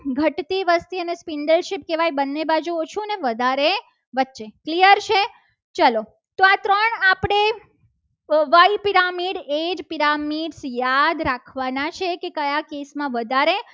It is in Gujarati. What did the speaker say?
ઘટતી વસ્તી ગૃષ્ટી વસ્તી fingership કહેવાય. બંને બાજુ ઓછું અને વધારે વચ્ચે clear છે. ચલો તો આ ત્રણ આપણે વાય પિરામિડ ઈદ પિરામિડ યાદ રાખવાના છે. કે કયા case માં વધારે